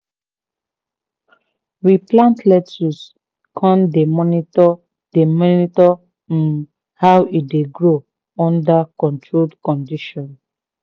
we plant lettuce kan dey monitor dey monitor um how e dey grow under controlled condition